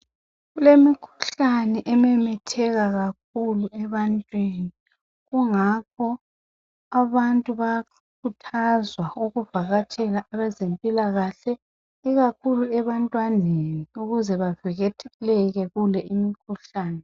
kulemikhuhlane ememetheka kakhulu ebantwini kungakho abantu bayakhuthazwa ukuvakatshela abezempilakahle ikakhulu ebantwaneni ukuze bavikeleke kule imikhuhlane